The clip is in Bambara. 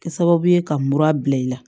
Kɛ sababu ye ka mura bila i la